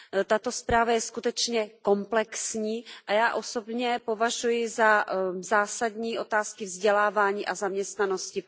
Tato zpráva je skutečně komplexní a já osobně považuji za zásadní otázky vzdělávání a zaměstnanosti.